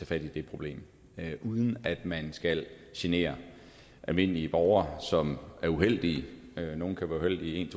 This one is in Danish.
fat i det problem uden at man skal genere almindelige borgere som er uheldige nogle kan være uheldige en